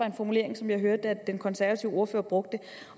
en formulering som jeg hørte at den konservative ordfører brugte